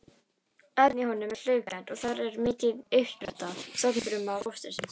Efnið í honum er hlaupkennt og þar er mikil uppspretta stofnfruma fóstursins.